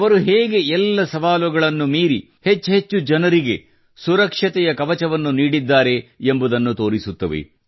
ಅವರು ಹೇಗೆ ಎಲ್ಲ ಸವಾಲುಗಳನ್ನು ಮೀರಿ ಹೆಚ್ಚೆಚ್ಚು ಜನರಿಗೆ ಸುರಕ್ಷತೆಯ ಕವಚವನ್ನು ನೀಡಿದ್ದಾರೆ ಎಂಬುದನ್ನು ತೋರಿಸುತ್ತವೆ